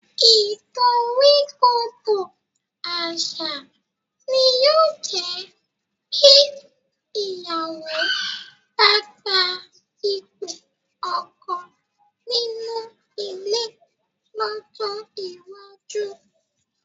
Ìdoríkodò àṣà ni yóò jẹ́ bí ìyàwó bá gba ipò ọkọ nínú ilé lọ́jọ́ iwájú